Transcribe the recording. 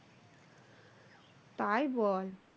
তাই বল,